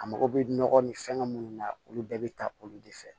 A mago bɛ nɔgɔ ni fɛngɛ minnu na olu bɛɛ bɛ taa olu de fɛ